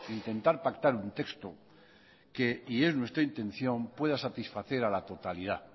intentar pactar un texto y es nuestra intención que pueda satisfacer a la totalidad